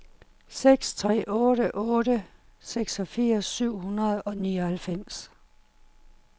seks tre otte otte seksogfirs syv hundrede og nioghalvfems